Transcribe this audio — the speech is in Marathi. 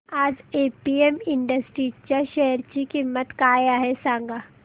आज एपीएम इंडस्ट्रीज च्या शेअर ची किंमत काय आहे सांगा